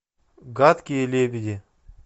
гадкие лебеди